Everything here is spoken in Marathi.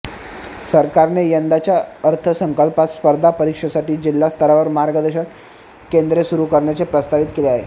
सरकारने यंदाच्या अर्थसंकल्पात स्पर्धा परीक्षांसाठी जिल्हास्तरावर मार्गदर्शन केंद्रे सुरू करण्याचे प्रस्तावित केले आहे